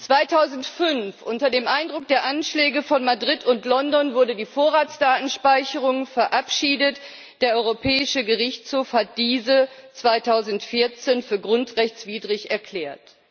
2005 wurde unter dem Eindruck der Anschläge von Madrid und London die Vorratsdatenspeicherung verabschiedet. Der Europäische Gerichtshof hat diese 2014 für grundrechtswidrig erklärt.